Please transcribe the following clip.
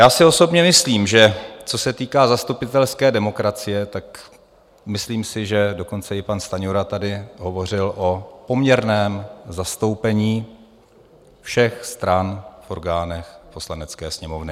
Já si osobně myslím, že co se týká zastupitelské demokracie, tak myslím si, že dokonce i pan Stanjura tady hovořil o poměrném zastoupení všech stran v orgánech Poslanecké sněmovny.